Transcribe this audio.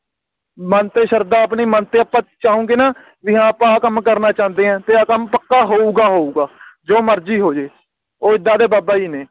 ਮਨ ਤੇ ਸ਼ਰਧਾ ਆਪਣੀ ਮਨ ਤੇ ਅੱਪਾ ਚਾਹੁਣਗੇ ਨਾ ਵੀ ਹਾਂ ਅੱਪਾ ਆ ਕੰਮ ਕਰਨਾ ਚਾਹਂਦੇ ਹਾਂ ਤੇ ਆ ਕੰਮ ਪੱਕਾ ਹੋਊਗਾ ਹੋਊਗਾ ਜੋ ਮਰਜੀ ਹੋ ਜਾਵੇ ਉਹ ਏਦਾਂ ਦੇ ਬਾਬਾ ਜੀ ਨੇ